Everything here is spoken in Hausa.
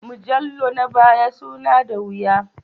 Mujallu na baya suna da wuya